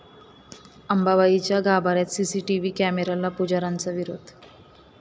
अंबाबाईच्या गाभाऱ्यात सीसीटीव्ही कॅमेऱ्याला पुजाऱ्यांचा विरोध